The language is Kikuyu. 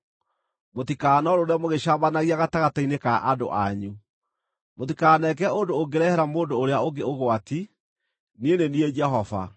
“ ‘Mũtikanorũũre mũgĩcambanagia gatagatĩ-inĩ ka andũ anyu. “ ‘Mũtikaneke ũndũ ũngĩrehere mũndũ ũrĩa ũngĩ ũgwati. Niĩ nĩ niĩ Jehova.